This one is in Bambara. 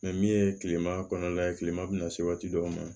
min ye kilema kɔnɔna ye kilema bina se waati dɔw ma